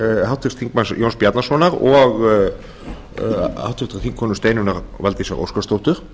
háttvirtra þingmanna jóns bjarnasonar og háttvirtur þingkonu steinunnar valdísar óskarsdóttur